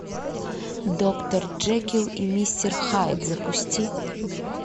доктор джекилл и мистер хайд запусти